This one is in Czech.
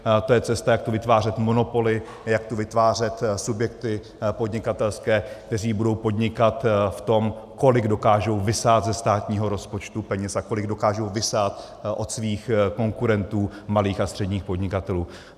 To je cesta, jak tu vytvářet monopoly, jak tu vytvářet subjekty podnikatelské, které budou podnikat v tom, kolik dokážou vysát ze státního rozpočtu peněz a kolik dokážou vysát od svých konkurentů, malých a středních podnikatelů.